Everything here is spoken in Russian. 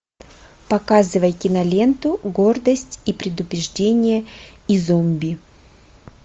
показывай киноленту гордость и предубеждение и зомби